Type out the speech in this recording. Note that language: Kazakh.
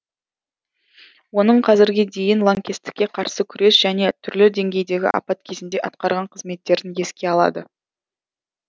оның қазірге дейін лаңкестікке қарсы күрес және түрлі деңгейдегі апат кезінде атқарған қызметтерін еске салды